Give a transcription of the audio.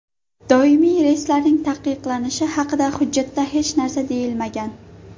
Doimiy reyslarning taqiqlanishi haqida hujjatda hech narsa deyilmagan.